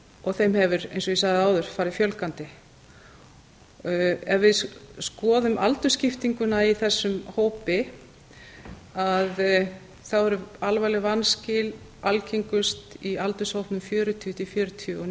og þeim hefur eins og ég sagði áður farið fjölgandi ef við skoðum aldursskiptinguna í þessum hópi eru alvarleg vanskil algengust í aldurshópnum fjörutíu til fjörutíu og